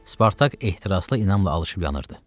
Spartak ehtiraslı inamla alışıb yanırdı.